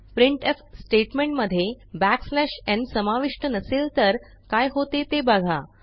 printf statement मध्ये n समाविष्ट नसेल तर काय होते ते बघा